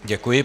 Děkuji.